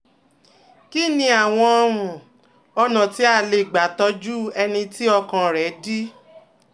Kí ni àwọn um ọ̀nà tí a lè gbà tọ́jú ẹni tí ọkàn rẹ̀ dí?